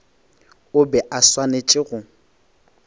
o be a swanetše go